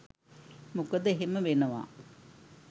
මොකද එහෙම වෙනවා